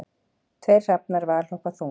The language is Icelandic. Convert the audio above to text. Tveir hrafnar valhoppa þung